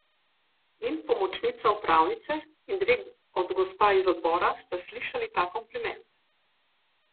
In pomočnica upravnice in dve od gospa iz Odbora sta slišali ta kompliment.